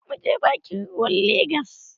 Za mu je bakin ruwan Legas.